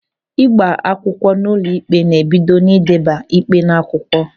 Ịgba akwụkwọ n'ụlọ ikpe ná-ebido n'ideba ịkpe n'akwụkwọ.